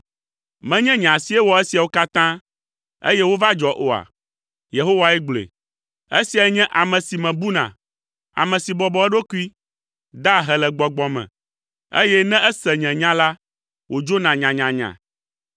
Menye nye asie wɔ esiawo katã, eye wova dzɔ oa?” Yehowae gblɔe. “Esiae nye ame si mebuna; ame si bɔbɔ eɖokui, da ahe le gbɔgbɔ me, eye ne ese nye nya la, wòdzona nyanyanya.